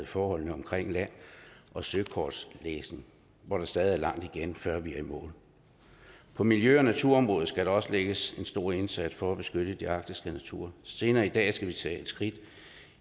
forholdene omkring land og søkortlægning hvor der stadig er langt igen før vi er i mål på miljø og naturområdet skal der også lægges en stor indsats for at beskytte den arktiske natur senere i dag skal vi tage et skridt